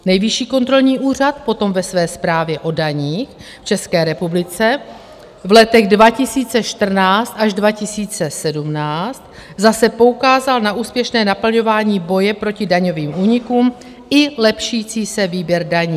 Nejvyšší kontrolní úřad potom ve své zprávě o daních v České republice v letech 2014 až 2017 zase poukázal na úspěšné naplňování boje proti daňovým únikům i lepšící se výběr daní.